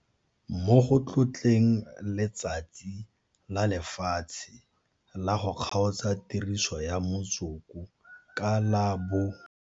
Mo go tlotleng Letsatsi la Lefatshe la go Kgaotsa Tiriso ya Motsoko ka la bo.